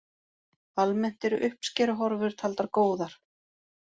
Almennt eru uppskeruhorfur taldar góðar